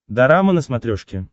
дорама на смотрешке